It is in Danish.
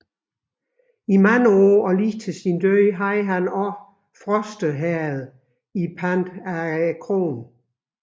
I mange år og lige til sin død havde han desuden Froste Herred i pant af kronen